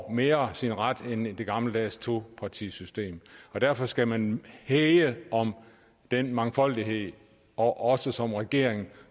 mere får sin ret end i det gammeldags topartisystem derfor skal man hæge om den mangfoldighed og også som regering